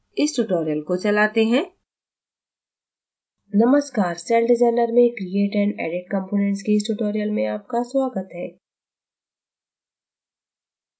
इस tutorial को चलाते हैं